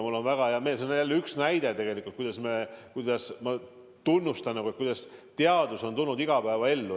Tahan vahele öelda, et mul on väga hea meel – see on jälle üks näide ja ma tunnustan selle eest –, et teadus on tulnud igapäevaellu.